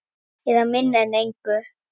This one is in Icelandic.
Eða minna en engu.